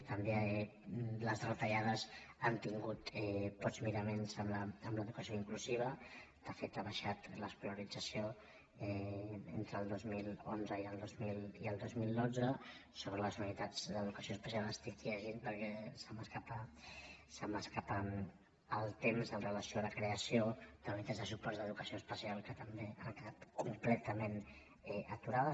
també les retallades han tingut pocs miraments amb l’educació inclusiva de fet ha baixat l’escolarització entre el dos mil onze i el dos mil dotze sobre les unitats d’educació especial estic llegint perquè se m’escapa el temps amb relació a la creació d’unitats de suport d’educació especial que també han quedat completament aturades